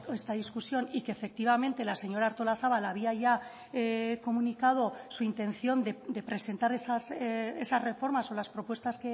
esta discusión y que efectivamente la señora artolazabal había ya comunicado su intención de presentar esas reformas o las propuestas